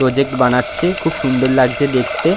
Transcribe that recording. Project বানাচ্ছে খুব সুন্দর লাগছে দেখতে।